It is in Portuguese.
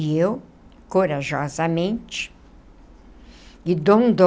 E eu, corajosamente, e